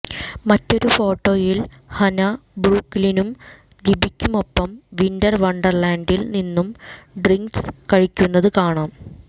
മറ്റൊരു ഫോട്ടോയിൽ ഹന ബ്രൂക്ക്ലിനും ലിബിക്കുമൊപ്പം വിന്റർ വണ്ടർ ലാൻഡിൽ നിന്നും ഡ്രിങ്ക്സ് കഴിക്കുന്നതു കാണാം